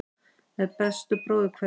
Með bestu bróðurkveðjum.